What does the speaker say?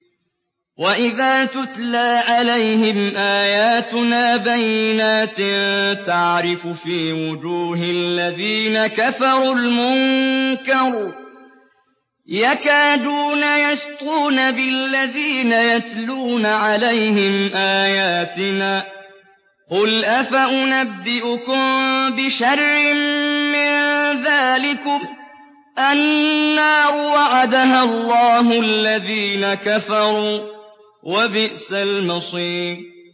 وَإِذَا تُتْلَىٰ عَلَيْهِمْ آيَاتُنَا بَيِّنَاتٍ تَعْرِفُ فِي وُجُوهِ الَّذِينَ كَفَرُوا الْمُنكَرَ ۖ يَكَادُونَ يَسْطُونَ بِالَّذِينَ يَتْلُونَ عَلَيْهِمْ آيَاتِنَا ۗ قُلْ أَفَأُنَبِّئُكُم بِشَرٍّ مِّن ذَٰلِكُمُ ۗ النَّارُ وَعَدَهَا اللَّهُ الَّذِينَ كَفَرُوا ۖ وَبِئْسَ الْمَصِيرُ